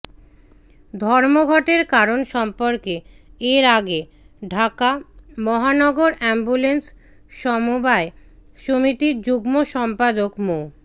ধর্মঘটের কারণ সর্ম্পকে এর আগে ঢাকা মহানগর অ্যাম্বুলেন্স সমবায় সমিতির যুগ্ম সম্পাদক মো